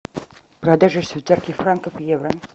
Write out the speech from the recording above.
продажа швейцарских франков в евро